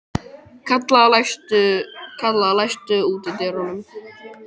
Kalla, læstu útidyrunum.